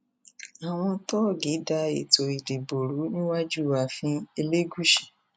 àwọn tóògì da ètò ìdìbò rú níwájú ààfin elégùsì